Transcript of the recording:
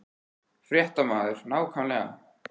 Fréttamaður: Nákvæmlega?